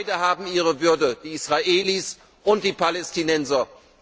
Beide haben ihre Würde, die Israelis und die Palästinenser.